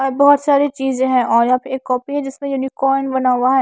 और बहोत सारी चीजें हैं और यहां पे एक कॉपी है जिसमें यूनिक बना हुआ है।